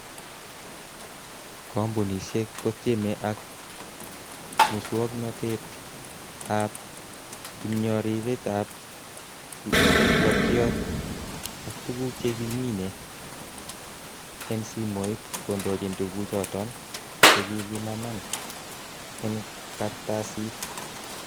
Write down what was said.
Kompunisiek kotieme ak muswognotet ab ipnyororitab blokiot ak tuguk chekimine en simoit kondochin tuguchoton chekikimaman en kartasit.